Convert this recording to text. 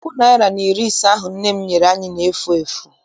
Puku naịra na iri ise ahụ nne m nyere m na-efu efu.